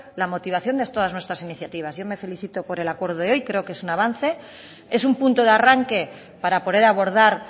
la motivación de todas nuestras iniciativas yo me felicito en el acuerdo de hoy creo que es un avance es un punto de arranque para poder abordar